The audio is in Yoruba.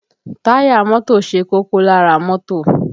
Táyà mọ́tò ṣe kókó lára mọ́tò